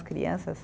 Crianças.